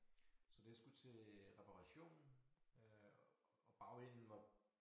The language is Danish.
Så det skulle til reparation øh og bagenden var